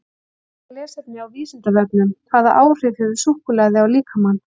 Frekara lesefni á Vísindavefnum: Hvaða áhrif hefur súkkulaði á líkamann?